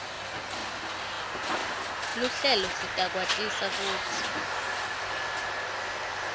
luhlelo sitakwatisa kutsi